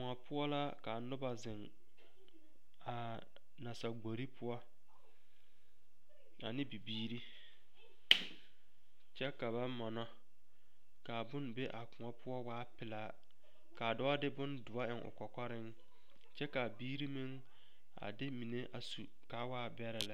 Koɔ poɔ la ka noba zeŋ a nasagbori poɔ ane bibirii kyɛ ka ba mɔnɔ ka bone be a koɔ poɔ waa pelaa k,a dɔɔ de bondoɔ eŋ o kɔkɔreŋ kyɛ k,a biiri meŋ a de mine a su k,a waa bɛrɛ lɛ.